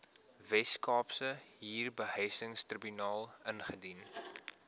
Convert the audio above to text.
weskaapse huurbehuisingstribunaal indien